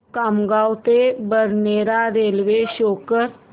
खामगाव ते Badnera railway show कर